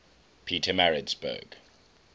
pietermaritzburg